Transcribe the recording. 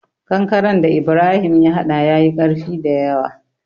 Kankaren da Ibrahim ya hada ya yi ƙarfi dayawa.